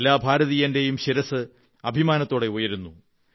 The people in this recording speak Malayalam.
എല്ലാ ഭാരതീയന്റെയും ശിരസ്സ് അഭിമാനത്തോടെ ഉയരുന്നു